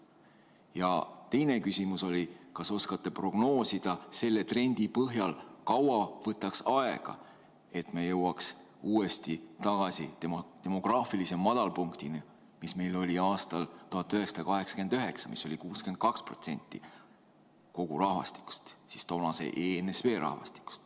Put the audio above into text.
Ja teine küsimus oli, kas oskate prognoosida selle trendi põhjal, kaua võtaks aega, et me jõuaks uuesti tagasi demograafilise madalpunktini, mis meil oli aastal 1989, mis oli 62% kogu rahvastikust, siis toonase ENSV rahvastikust.